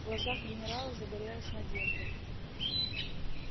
в глазах генерала загорелась надежда